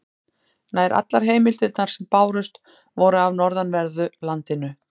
Nær allar heimildirnar sem bárust voru af norðanverðu landinu.